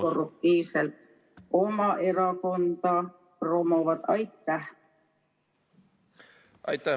... samamoodi korruptiivselt oma erakonda promovad?